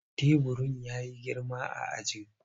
Teburin ya yi girma a ajin.